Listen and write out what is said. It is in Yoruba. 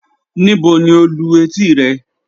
Níbò ni o lú ètí rẹ?